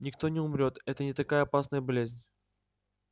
никто не умрёт это не такая опасная болезнь